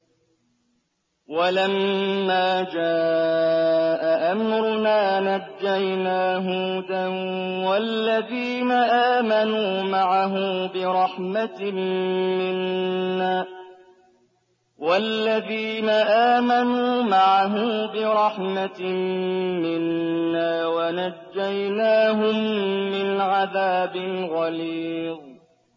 وَلَمَّا جَاءَ أَمْرُنَا نَجَّيْنَا هُودًا وَالَّذِينَ آمَنُوا مَعَهُ بِرَحْمَةٍ مِّنَّا وَنَجَّيْنَاهُم مِّنْ عَذَابٍ غَلِيظٍ